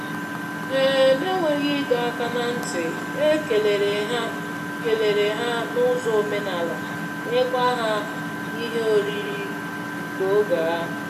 um N'enweghị ịdọ áká na ntị, e kelere hà kelere hà n'ụzọ omenala nyekwa ha ihe oriri nke oge ahụ.